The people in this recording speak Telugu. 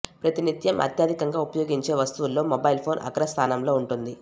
ప్రతి నిత్యం అత్యధికంగా ఉపయోగించే వస్తువుల్లో మొబైల్ ఫోన్ అగ్రస్థానంలో ఉంటుంది